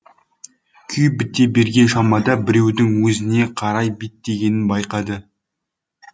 күй біте берген шамада біреудің өзіне қарай беттегенін байқады